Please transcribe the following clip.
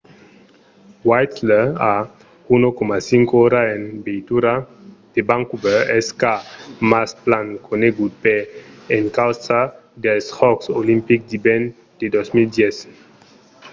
whistler a 1,5 ora en veitura de vancouver es car mas plan conegut per encausa dels jòcs olimpics d’ivèrn de 2010